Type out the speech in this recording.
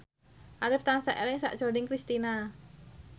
Arif tansah eling sakjroning Kristina